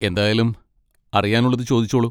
എന്തായാലും, അറിയാനുള്ളത് ചോദിച്ചോളൂ.